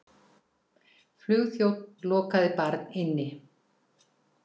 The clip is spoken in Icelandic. Flugþjónn lokaði barn inni